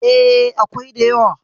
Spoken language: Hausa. E, akwai da yawa.